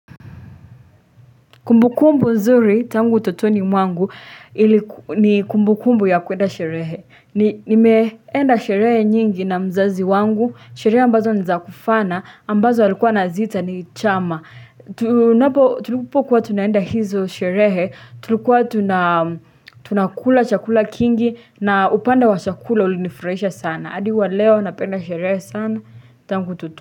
Kumbukumbu nzuri, tangu totoni mwangu, ni kumbukumbu ya kuenda sherehe. Nimeenda sherehe nyingi na mzazi wangu, sherehe ambazo ni za kufana, ambazo alikua anaziita ni chama. Tulipokuwa tunaenda hizo sherehe, tulikua tunakula chakula kingi na upande wa chakula ulinifurahisha sana. Hadi wa leo, napenda sherehe sana, tangu utoto.